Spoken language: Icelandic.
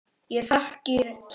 Ég þakkir sendi, sendi öllum.